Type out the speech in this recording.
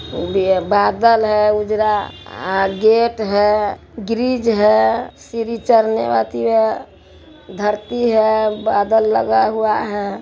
ये बादल है उजरा और गेट है ग्रील है सीढ़ी चढ़ने आथी है धरती हय बादल लगा हुआ है।